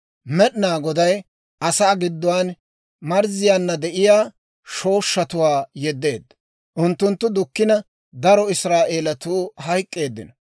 Med'inaa Goday asaa gidduwaan marzziyaanna de'iyaa shooshshatuwaa yeddeedda; unttunttu dukkina, daro Israa'eelatuu hayk'k'eeddino.